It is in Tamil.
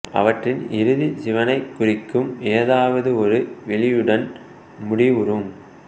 அவற்றின் இறுதி சிவனைக் குறிக்கும் ஏதாவது ஒரு விளியுடன் முடிவுறும்